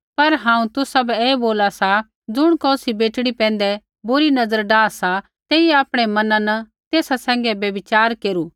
पर हांऊँ तुसाबै ऐ बोला सा ज़ुण कौसी बेटड़ी पैंधै बुरी नज़र डाह सा तेइयै आपणै मना न तेसा सैंघै व्यभिचार केरू